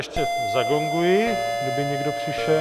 Ještě zagonguji, kdyby někdo přišel...